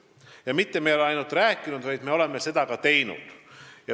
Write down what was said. Ja me ei ole mitte ainult rääkinud, vaid oleme ka teinud.